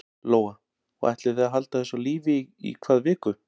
Lóa: Og ætlið þið að halda þessu á lífi í hvað viku?